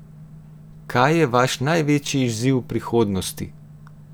Kaj je vaš največji izziv v prihodnosti?